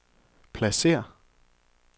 pladsér